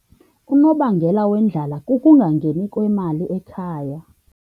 Unobangela wendlala kukungangeni kwemali ekhaya.